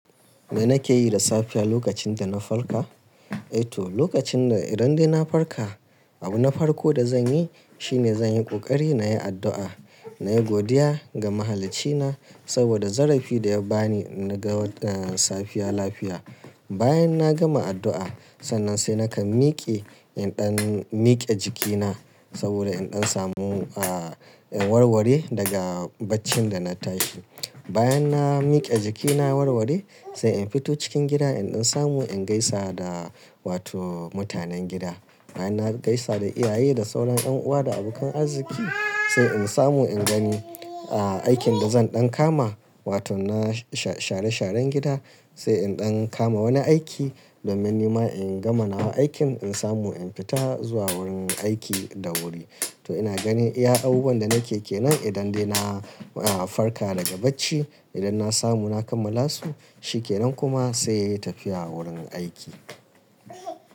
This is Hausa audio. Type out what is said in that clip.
Me nake yi da safiya lokacin da na farka? Eh to, lokacin da idan dai na farka, abu na farko da zan yi shine zan yi ƙoƙari na yi addu'a, na yi godiya ga Mahaliccina saboda zarafi da ya ba ni na ga safiya lafiya. Bayan na gama addu'a, sannan sai nakan mike in ɗan mike jikina saboda in ɗan samu, ah, in warware daga baccin da na tashi. Bayan na mike jikina warware, sai in fito cikin gida in ɗan samu in gaisa da wato mutanen gida. Bayan na gaisa da iyaye da sauran ɗan'uwa da abokan arziki, sai in samu in gani, ah, aikin da zan ɗan kama wato na sha-share sharan gida sai in ɗan kama wani aiki domin nima in gama na aikin in samu in fita zuwa wurin aiki da wuri. To ina gani, iya abubuwan da nake ke nan idan dai na, ah, farka daga bacci, idan na samu na kammala su, shi ke nan kuma sai tafiya wurin aiki.